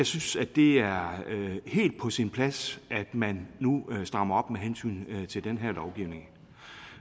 synes at det er helt på sin plads at man nu strammer op med hensyn til den her lovgivning